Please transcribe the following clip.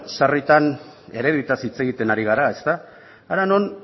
sarritan ereduetaz hitz egiten ari gara ezta hara non